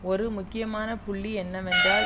ஒரு முக்கியமான புள்ளி என்னவென்றால்